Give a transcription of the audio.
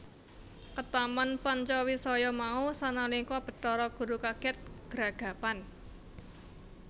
Ketaman Pancawisaya mau sanalika Bathara Guru kaget gragapan